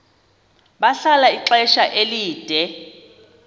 bahlala ixesha elide